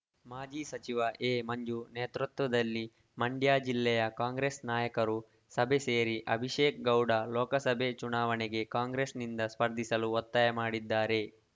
ಮಾಜಿ ಸಚಿವ ಎಮಂಜು ನೇತೃತ್ವದಲ್ಲಿ ಮಂಡ್ಯ ಜಿಲ್ಲೆಯ ಕಾಂಗ್ರೆಸ್‌ ನಾಯಕರು ಸಭೆ ಸೇರಿ ಅಭಿಷೇಕ್‌ ಗೌಡ ಲೋಕಸಭೆ ಚುನಾವಣೆಗೆ ಕಾಂಗ್ರೆಸ್‌ನಿಂದ ಸ್ಪರ್ಧಿಸಲು ಒತ್ತಾಯ ಮಾಡಿದ್ದಾರೆ